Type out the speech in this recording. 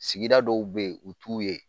Sigida dɔw bɛ yen u t'u ye